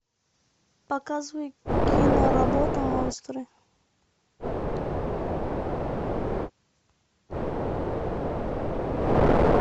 показывай киноработу монстры